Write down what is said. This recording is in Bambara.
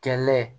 Kɛlɛ